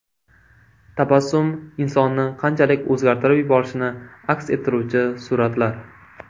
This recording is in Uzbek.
Tabassum insonni qanchalik o‘zgartirib yuborishini aks ettiruvchi suratlar.